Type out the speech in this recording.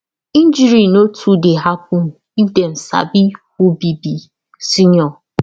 injury no too dey happen if dem sabi who be be senior